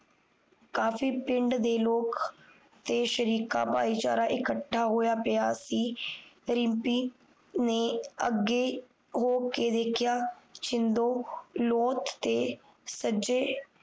ਕਾਫ਼ੀ ਪਿੰਡ ਦੇ ਲੋਕ ਤੇ ਸ਼ਰੀਕਾ ਬਾਈਚਾਰਾ ਇਕੱਠਾ ਹੋਈਆ ਪਿਆ ਸੀ ਰਿਮਪੀ ਨੇ ਅੱਗੇ ਹੋ ਕ ਦੇਖਿਆ ਸ਼ਿੰਦੋ